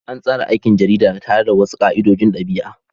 An tsara aikin jarida tare da wasu ka'idojin ɗabi'a.